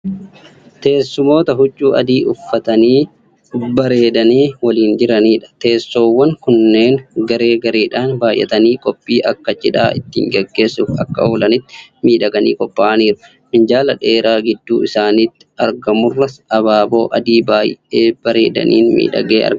Teessumoota huccuu adii uffatanaii bareedanii waliin jiraniidha. Teessoowwan kunneen garee gareedhan baay'atanii qophii akka cidhaa ittiin gaggeessuuf akka oolanitti miidhaganii qophaa'aniiru. Minjaala dheeraa gidduu isaaniitti argamurras abaaboo adiii baay'ee bareedaniin miidhagee argama.